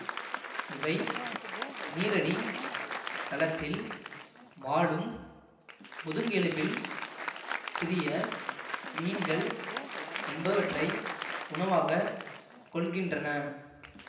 இவை நீரடித் தளத்தில் வாழும் முதுங்கெலும்பில் சிறிய மீன்கள் என்பவற்றை உணவாகக் கொள்கின்றன